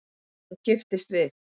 Hún kipptist við.